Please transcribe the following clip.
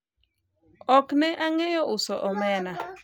ok ne ang'eyo uso omena